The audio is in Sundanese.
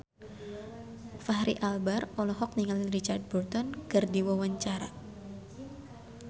Fachri Albar olohok ningali Richard Burton keur diwawancara